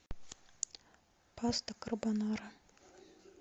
паста карбонара